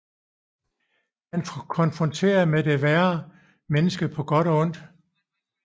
Han konfronterer med det at være menneske på godt og ondt